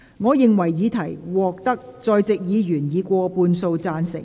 我認為議題獲得在席議員以過半數贊成。